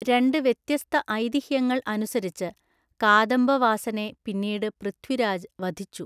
രണ്ട് വ്യത്യസ്ത ഐതിഹ്യങ്ങൾ അനുസരിച്ച്, കാദംബവാസനെ പിന്നീട് പൃഥ്വിരാജ് വധിച്ചു.